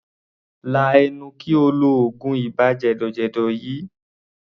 Lá ẹnu kí o lo oògùn ibà jẹ̀dọ̀jẹ̀dọ̀ yìí!